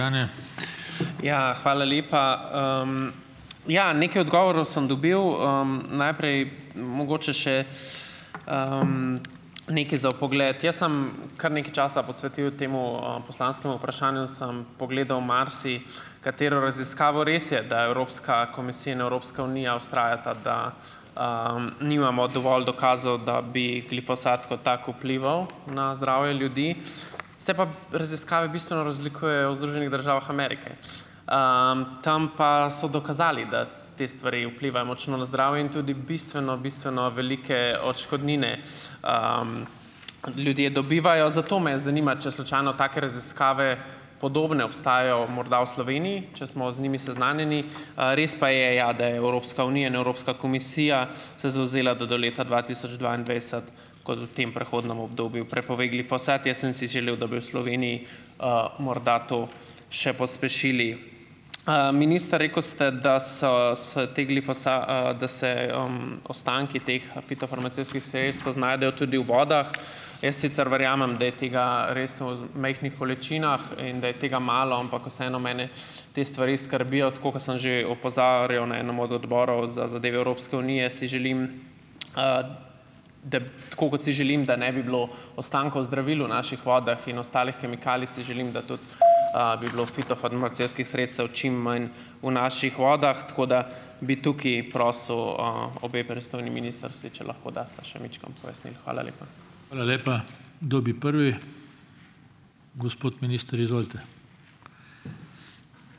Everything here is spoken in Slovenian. Ja, hvala lepa. Ja, nekaj odgovorov sem dobil, najprej, mogoče še, nekaj za vpogled. Jaz sem kar nekaj časa posvetil temu, poslanskemu vprašanju, sem pogledal marsikatero raziskavo. Res je, da je Evropska komisija in Evropska unija vztrajata, da, nimamo dovolj dokazov, da bi glifosat kot tak vplival na zdravje ljudi, se pa raziskave bistveno razlikujejo v Združenih državah Amerike. Tam pa, so dokazali, da te stvari vplivajo močno na zdravje in tudi bistveno, bistveno velike odškodnine, ljudje dobivajo, zato me zanima, če slučajno take raziskave, podobne, obstajajo morda v Sloveniji, če smo z njimi seznanjeni, res pa je, ja, da je Evropska unija in Evropska komisija, se zavzela, da do leta dva tisoč dvaindvajset, kot v tem prehodnem obdobju, prepove glifosat. Jaz sem si želel, da bi v Sloveniji, morda to še pospešili. Minister, rekel ste, da so se te da se, ostanki teh, fitofarmacevtskih sredstev znajdejo tudi u vodah. Jaz sicer verjamem, da je tega res v majhnih količinah in da je tega malo, ampak vseeno mene te stvari skrbijo, tako kot sem že opozarjal na enem od Odborov za zadeve Evropske unije, si želim, da, tako kot si želim, da ne bi bilo ostankov zdravil v naših vodah in ostalih kemikalij, si želim, da tudi, bi bilo fitofarmacevtskih sredstev čim manj v naših vodah, tako da bi tukaj prosil, obe pristojni ministrstvi, če lahko dasta še majčkeno pojasnil. Hvala lepa.